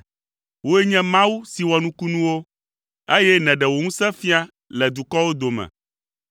Wòe nye Mawu si wɔ nukunuwo, eye nèɖe wò ŋusẽ fia le dukɔwo dome.